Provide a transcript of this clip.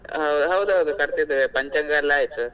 ಹೌದುದ್ ಮನೆ ಕಟ್ತಿದ್ದೇವೆ ಪಂಚಾಂಗ ಎಲ್ಲಾ ಆಯ್ತು.